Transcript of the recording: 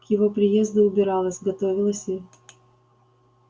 к его приезду убиралась готовилась и